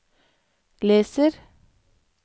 leser